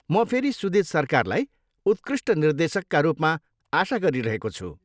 म फेरि सुजित सरकारलाई उत्कृष्ट निर्देशकका रूपमा आशा गरिरहेको छु।